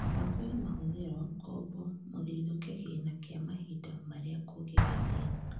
mibango ya mahũthĩro, Ngombo, mũthithũ, kĩgĩna kĩa mahinda marĩa kũngĩgĩa thĩna